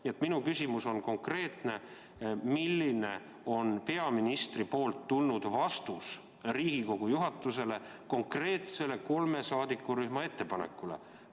Nii et minu küsimus on konkreetne: milline vastus on tulnud peaministrit Riigikogu juhatusele kolme saadikurühma konkreetsele ettepanekule?